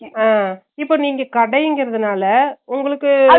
உம் இப்ப நீங்க கடைங்கரனால உங்களுக்கு